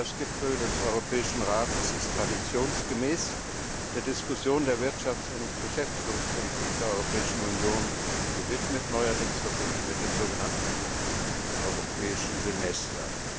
Der Frühjahrsgipfel des Europäischen Rates ist traditionsgemäß der Diskussion der Wirtschafts und Beschäftigungspolitik der Europäischen Union gewidmet, neuerdings verbunden mit dem sogenannten Europäischen Semester.